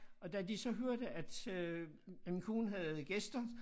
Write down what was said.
Og da de så hørte at øh at min kone havde gæster